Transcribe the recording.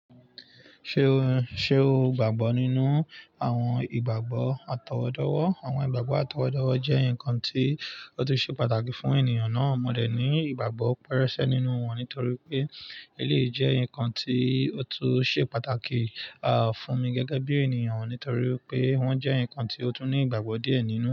Ṣé o, ṣe o gbàgbọ́ nínú àwọn ìgbàgbọ́ àtọwọ́dọ́wọ́? Àwọn ìgbàgbọ́ àtọwọ́dọ́wọ́ jẹ́ nǹkan tí ó tún ṣe pàtàkì fún ènìyàn náà. Mo dẹ ní ìgbàgbọ́ pẹrẹsẹ nínú wọn nítorí pé eléyìí jẹ́ nǹkan tí ó tún ṣe pàtàkì, fún mi gẹ́gẹ́ bí ènìyàn nítorí pé wọ́n jẹ́ nǹkan tí ó tún ní ìgbàgbọ́ díẹ̀ nínú.